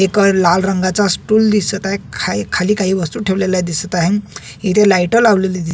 एक लाल रंगाचा स्टूल दिसत आहे खाली खाली काही वस्तु ठेवलेल्या दिसत आहे इथं लाइट लावलेली--